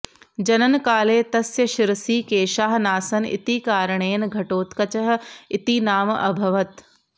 जननकाले तस्य शिरसि केशाः नासन् इति कारणेन घटोत्कचः इति नाम अभवत्